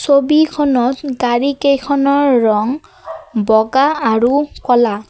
ছবিখনত গাড়ী কেইখনৰ ৰং বগা আৰু ক'লা।